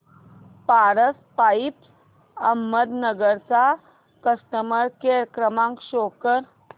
Paras pipes Ahmednagar चा customer care क्रमांक show करा